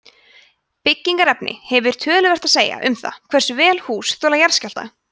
byggingarefni hefur töluvert að segja um það hversu vel hús þola jarðskjálfta